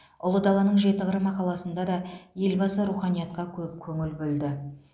ұлы даланың жеті қыры мақаласында да елбасы руханиятқа көп көңіл бөлді